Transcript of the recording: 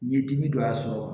N ye dimi dɔ y'a sɔrɔ